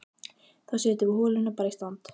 Þá setjum við holuna bara í stand!